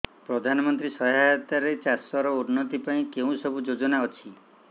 ପ୍ରଧାନମନ୍ତ୍ରୀ ସହାୟତା ରେ ଚାଷ ର ଉନ୍ନତି ପାଇଁ କେଉଁ ସବୁ ଯୋଜନା ଅଛି